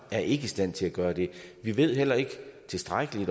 er i stand til at gøre det vi ved heller ikke tilstrækkelig